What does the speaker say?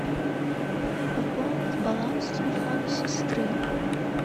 пополнить баланс телефона сестры